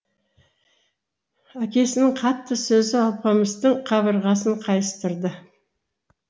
әкесінің қатты сөзі алпамыстың қабырғасын қайыстырды